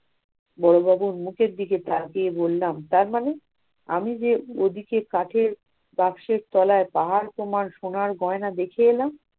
বড়বাবুর মুখের দিকে তাকিয়ে বললাম তার মানে? আমি যে ওদিকে কাঠের বাক্সের তলায় পাহাড় সমান সোনার গয়না দেখে এলাম।